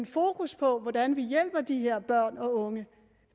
fokus på hvordan vi hjælper de her børn og unge